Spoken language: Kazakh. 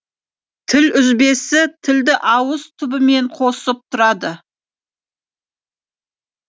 тіл үзбесі тілді ауыз түбімен қосып тұрады